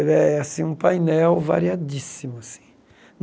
Ele é assim um painel variadíssimo assim.